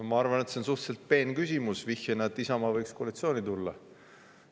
No ma arvan, et see on suhteliselt peen küsimus vihjamaks, et Isamaa võiks koalitsiooni tulla.